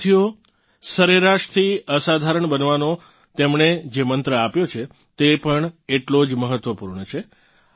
સાથીઓ સરેરાશથી અસાધારણ બનવાનો તેમણે જે મંત્ર આપ્યો છે તે પણ એટલો જ મહત્વપૂર્ણ છે